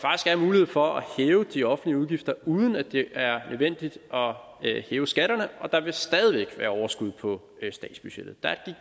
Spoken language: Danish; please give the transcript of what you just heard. er en mulighed for at hæve de offentlige udgifter uden at det er nødvendigt at hæve skatterne og der vil stadig væk være overskud på statsbudgettet der er